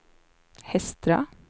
Hestra